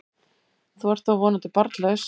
Þú ert þó vonandi barnlaus?